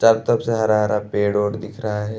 चारो तरफ से हरा-हरा पेड़ और दिख रहा है।